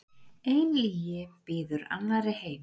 Ein lygi býður annarri heim.